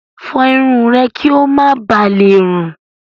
Fọ irun rẹ kí ó má ba lè rùn.